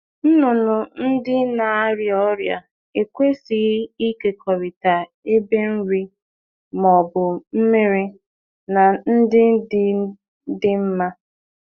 Anụ ọkụkọ na-aria ọrịa ekwesịghị iji ite nri maọbụ ite mmiri dị iche iche na ndị dị mma.